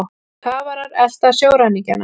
Kafarar elta sjóræningjana